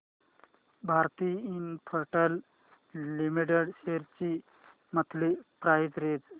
Bharti Infratel limited shares ची monthly price range